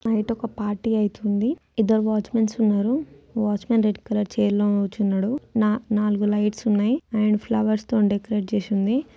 బయట ఒక పార్టీ అయితుంది ఇద్దరు వాచ్ మెన్సు ఉన్నారు వాచ్మెన్ రెడ్ కలర్ చైర్ లో కూర్చున్నా నాలుగు లైట్స్ ఉన్నాయి అండ్ ఫ్లవర్. తోని డెకరేట్ చేసి ఉంది